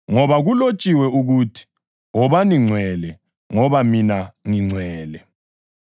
ngoba kulotshiwe ukuthi: “Wobani ngcwele ngoba mina ngingcwele.” + 1.16 ULevi 11.44-45; 19.2